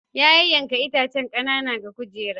Ya yanyanke itacen kanana ga kujera.